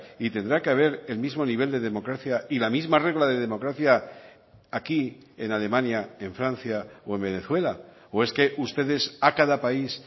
y tendrá que haber el mismo nivel de democracia y la misma regla de democracia aquí en alemania en francia o en venezuela o es que ustedes a cada país